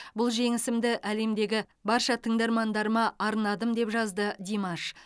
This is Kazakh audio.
бұл жеңісімді әлемдегі барша тыңдармандарыма арнадым деп жазды димаш